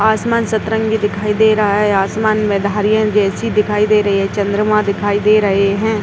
आसमान सतरंगी दिखाई दे रहा है। आसमान में धारियां जैसी दिखाई दे रही है। चंद्रमाँ दिखाई दे रहे हैं।